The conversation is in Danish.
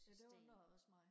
det undrede også mig